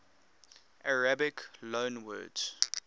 arabic loanwords